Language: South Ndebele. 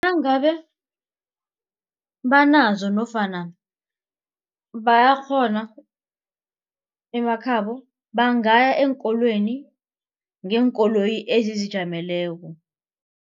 Nangabe banazo nofana bayakghona emakhabo bangaya eenkolweni ngeenkoloyi ezizijameleko.